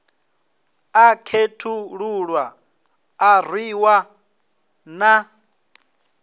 a khethululwa a rwiwa na